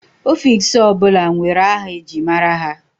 Ọfiks ọ bụla nwere aha eji mara ha.